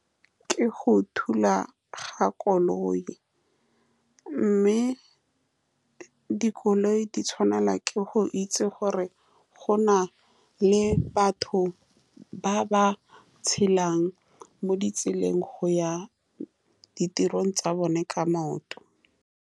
Ke go thula ga koloi, mme dikoloi di tshwanetse go itse gore go na le batho ba ba tshelang mo ditseleng go ya ditirong tsa bone ka maoto.